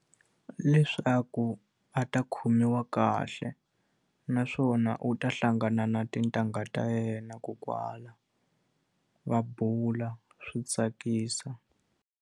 Leswaku a ta khomiwa kahle, naswona u ta hlangana na tintangha ta yena . Va bula, swi tsakisa.